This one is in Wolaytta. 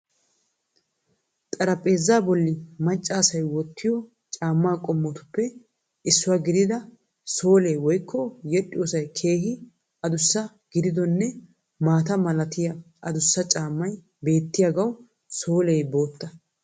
Xaraphpheezaa bolli maccasay wottiyo caamma qomottuppe issuwaa gidida soole woykko yedhdhiyosay keehii adussa gididonne maata malatiya adussa caammay beetyagawu solee bootta.